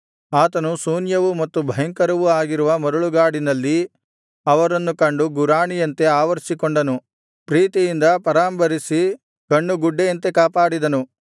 ಆತನು ಶೂನ್ಯವೂ ಮತ್ತು ಭಯಂಕರವೂ ಆಗಿರುವ ಮರಳುಗಾಡಿನಲ್ಲಿ ಅವರನ್ನು ಕಂಡು ಗುರಾಣಿಯಂತೆ ಆವರಿಸಿಕೊಂಡನು ಪ್ರೀತಿಯಿಂದ ಪರಾಂಬರಿಸಿದ ಹಾಗೂ ಕಣ್ಣುಗುಡ್ಡೆಯಂತೆ ಕಾಪಾಡಿದನು